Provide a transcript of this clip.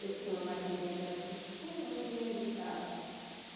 Eu tinha uma maquininha dessas, comunzinha de casa.